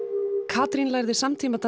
Katrín lærði